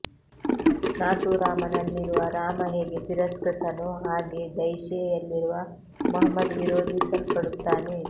ನಾಥೂರಾಮ ನಲ್ಲಿರುವ ರಾಮ ಹೇಗೆ ತಿರಸ್ಕೃತ ನೋ ಹಾಗೇ ಜೈಶೇ ಯಲ್ಲಿರುವ ಮುಹಮ್ಮದ್ ವಿರೋಧಿ ಸಲ್ಪಡುತ್ತಾನೆ